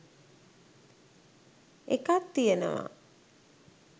එකක්‌ තියෙනවා